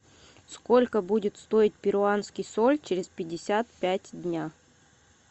сколько будет стоить перуанский соль через пятьдесят пять дней